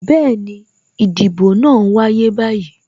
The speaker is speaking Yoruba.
Bẹẹni, ìdìbò náà n wáyé báyìí